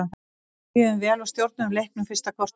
Við byrjuðum vel og stjórnuðum leiknum fyrsta korterið.